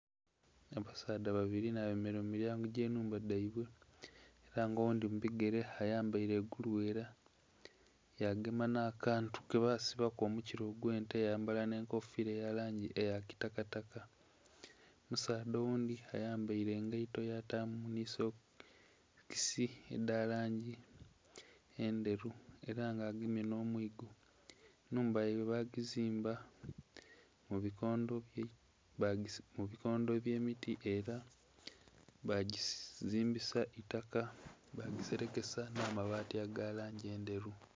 Abasaadha babiri nha bemereire mu milyango dhe nhumba dhaibwe era nga oghundhi mu bigere ayambaire gulughera yagema nha kantu ke basibaku omukila ogwe'nte ya yambala nhe enkofira eri mu langi eya kitaka taka. Omusaadha oghundhi ayambaire engaito yatamu nhi stokisi edha langi endheru era nga agemye nho mwigo. Nhumba yaibwe ba gizimba mu bikondho bye miti era bagizimbisa itaka bagiserekesa amabati ga langi endheru.